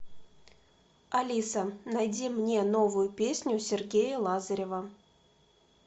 алиса найди мне новую песню сергея лазарева